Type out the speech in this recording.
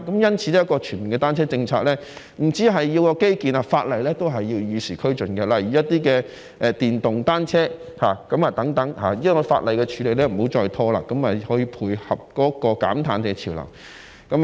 因此，一個全面的單車政策，不單需要基建，在法例上也需與時俱進，例如在電動單車方面，希望當局在法例的處理上不要再拖延，以配合減碳潮流。